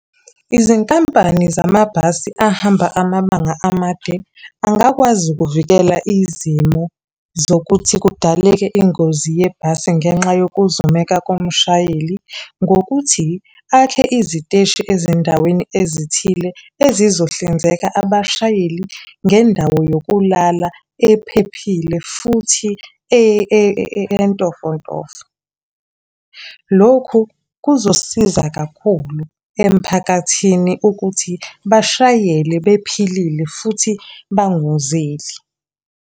Izinkampani zamabhasi ahamba amabanga amade, angakwazi ukuvikela izimo zokuthi kudaleke ingozi yebhasi ngenxa yokuzumeka komshayeli, ngokuthi, akhe iziteshi ezindaweni ezithile, ezizohlinzeka abashayeli ngendawo yokulala, ephephile, futhi entofontofo. Lokhu kuzosiza kakhulu emphakathini ukuthi bashayele bephilile futhi bangozeli.